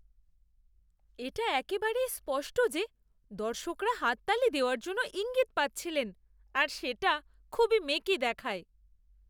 এটা একেবারেই স্পষ্ট যে দর্শকরা হাততালি দেওয়ার জন্য ইঙ্গিত পাচ্ছিলেন আর সেটা খুবই মেকি দেখায়।